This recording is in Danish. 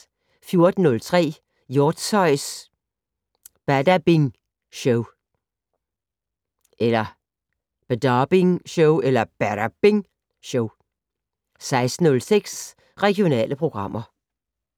14:03: Hjortshøjs Badabing Show 16:06: Regionale programmer